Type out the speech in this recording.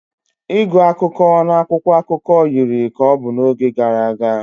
Ịgụ akụkọ na akwụkwọ akụkọ yiri ka ọ bụ n'oge gara aga